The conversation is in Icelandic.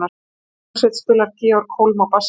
Í hvaða hljómsveit spilar Georg Holm á bassa?